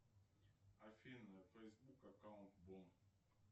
афина фейсбук аккаунт вор